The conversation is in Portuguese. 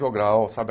Jogral, sabe?